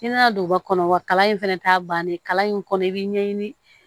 I nana don ba kɔnɔ wa kalan in fɛnɛ t'a bannen kalan in kɔnɔ i b'i ɲɛɲini